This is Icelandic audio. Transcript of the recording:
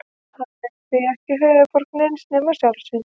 Hann er því ekki höfuðborg neins nema sjálfs sín.